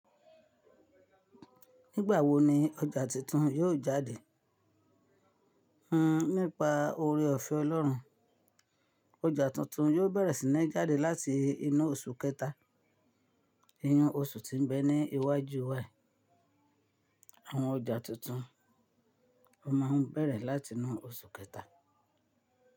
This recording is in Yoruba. Nígbà wo ni ọjà tuntun yóò jáde? Hmm nípa oore ọ̀fẹ́ Ọlọ́run, ọjà tuntun yóò bẹ̀rẹ̀ sí ní jáde láti inú oṣù kẹta. Inú oṣù tí ń bẹ ní iwájú wa yìí Àwọn ọjà tuntun máa ń bẹ̀rẹ̀ láti inú oṣù kẹta.